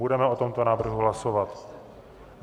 Budeme o tomto návrhu hlasovat.